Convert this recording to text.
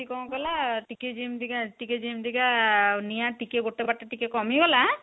ଟି କଣ କଲା ଟିକେ ଯେମିତିକା ଟିକେ ଯେମିତିକା ନିଆଁ ଗୋଟେ ବାଟେ ଟିକେ କମିଗଲା